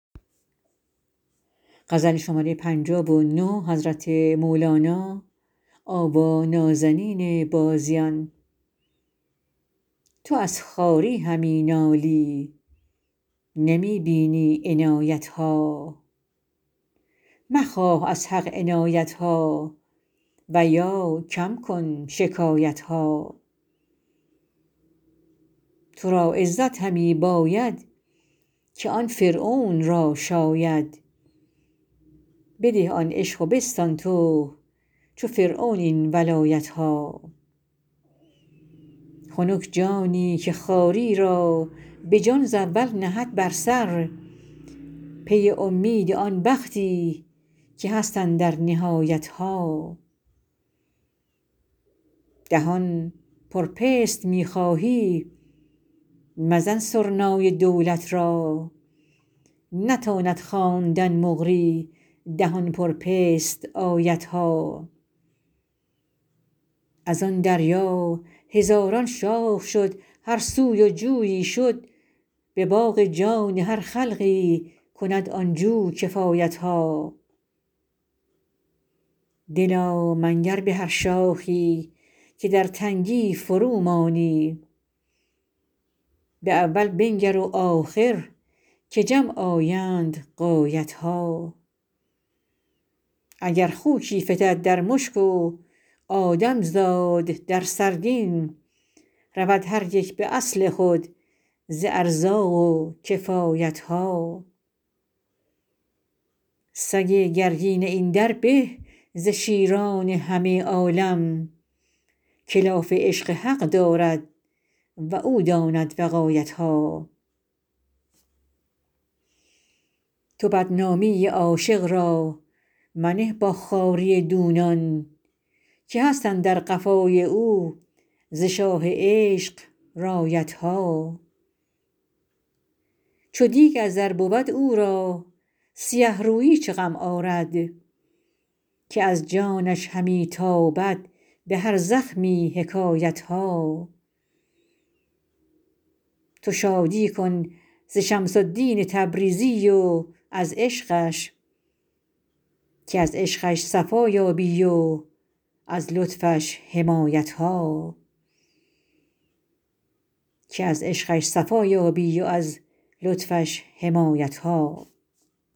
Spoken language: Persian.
تو از خواری همی نالی نمی بینی عنایت ها مخواه از حق عنایت ها و یا کم کن شکایت ها تو را عزت همی باید که آن فرعون را شاید بده آن عشق و بستان تو چو فرعون این ولایت ها خنک جانی که خواری را به جان ز اول نهد بر سر پی اومید آن بختی که هست اندر نهایت ها دهان پر پست می خواهی مزن سرنای دولت را نتاند خواندن مقری دهان پر پست آیت ها از آن دریا هزاران شاخ شد هر سوی و جویی شد به باغ جان هر خلقی کند آن جو کفایت ها دلا منگر به هر شاخی که در تنگی فرومانی به اول بنگر و آخر که جمع آیند غایت ها اگر خوکی فتد در مشک و آدم زاد در سرگین رود هر یک به اصل خود ز ارزاق و کفایت ها سگ گرگین این در به ز شیران همه عالم که لاف عشق حق دارد و او داند وقایت ها تو بدنامی عاشق را منه با خواری دونان که هست اندر قفای او ز شاه عشق رایت ها چو دیگ از زر بود او را سیه رویی چه غم آرد که از جانش همی تابد به هر زخمی حکایت ها تو شادی کن ز شمس الدین تبریزی و از عشقش که از عشقش صفا یابی و از لطفش حمایت ها